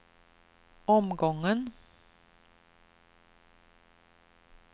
omgången